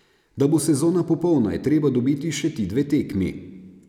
Da bo sezona popolna, je treba dobiti še ti dve tekmi.